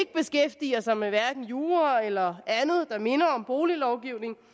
beskæftiger sig med jura eller andet der minder om boliglovgivning